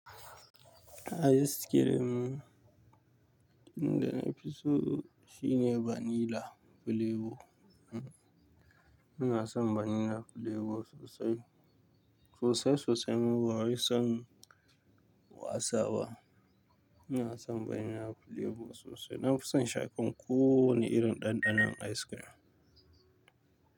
Ice cream da nafi so shine vanilla flavor. Ina son vanilla flavor sosai, sosai sosai. Ni bari son wasa ba. Ina son vanilla flavor sosai. Na fi son shaƙan ko wani irin ɗanɗanon ice cream.